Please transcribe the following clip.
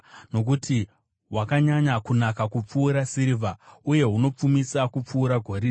nokuti hwakanyanya kunaka kupfuura sirivha, uye hunopfumisa kupfuura goridhe.